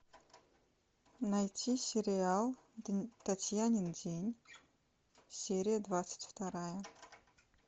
найти сериал татьянин день серия двадцать вторая